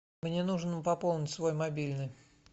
мне нужно пополнить свой мобильный